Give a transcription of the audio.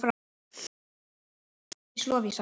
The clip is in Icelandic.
Dóttir þeirra er Ásdís Lovísa.